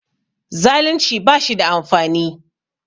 Zaalunci ba shi da amfani